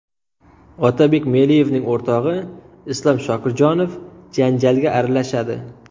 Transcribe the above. Otabek Meliyevning o‘rtog‘i Islom Shokirjonov janjalga aralashadi.